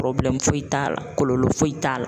foyi t'a la kɔlɔlɔ foyi t'a la.